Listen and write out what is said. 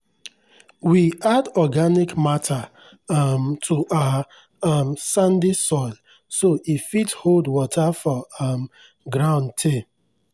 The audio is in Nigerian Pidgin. we add organic matter um to our um sandy soil so e fit hold water for um ground tey.